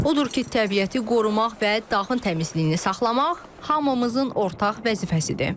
Odur ki, təbiəti qorumaq və dağın təmizliyini saxlamaq hamımızın ortaq vəzifəsidir.